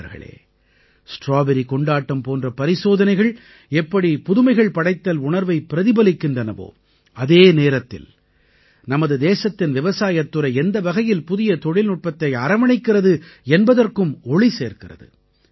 நண்பர்களே ஸ்ட்ராபெர்ரி கொண்டாட்டம் போன்ற பரிசோதனைகள் எப்படி புதுமைகள் படைத்தல் உணர்வைப் பிரதிபலிக்கின்றனவோ அதே நேரத்தில் நமது தேசத்தின் விவசாயத் துறை எந்த வகையில் புதிய தொழில்நுட்பத்தை அரவணைக்கிறது என்பதற்கும் ஒளி சேர்க்கிறது